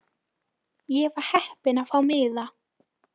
Ég var heppin að fá miða.